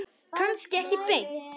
Kannski ekki beint.